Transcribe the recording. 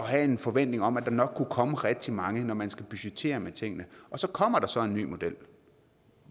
have en forventning om at der nok kunne komme rigtig mange når man skulle budgettere med tingene og så kommer der så en ny model